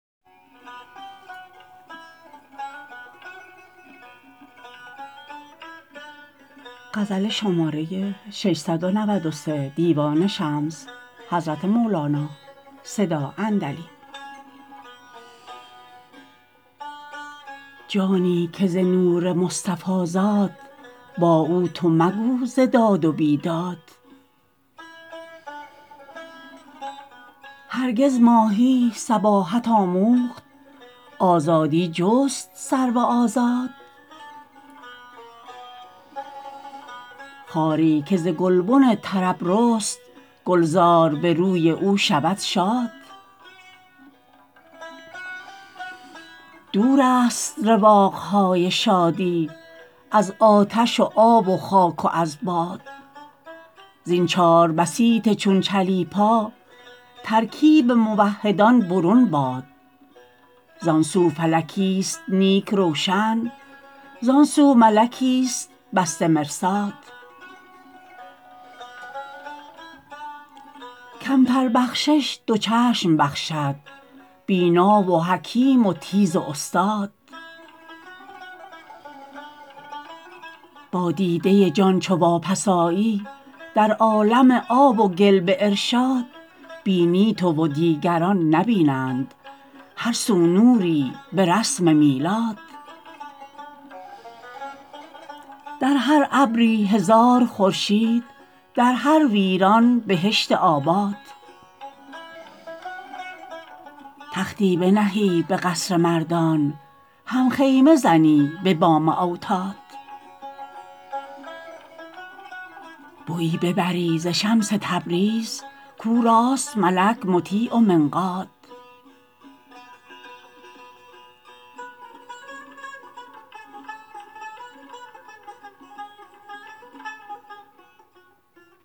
جانی که ز نور مصطفی زاد با او تو مگو ز داد و بیداد هرگز ماهی سباحت آموخت آزادی جست سرو آزاد خاری که ز گلبن طرب رست گلزار به روی او شود شاد دورست رواق های شادی از آتش و آب و خاک و از باد زین چار بسیط چون چلیپا ترکیب موحدان برون باد زان سو فلکیست نیک روشن زان سو ملکیست بسته مرصاد کمتر بخشش دو چشم بخشد بینا و حکیم و تیز و استاد با دیده جان چو واپس آیی در عالم آب و گل به ارشاد بینی تو و دیگران نبینند هر سو نوری به رسم میلاد در هر ابری هزار خورشید در هر ویران بهشت آباد تختی بنهی به قصر مردان هم خیمه زنی به بام اوتاد بویی ببری ز شمس تبریز کو را است ملک مطیع و منقاد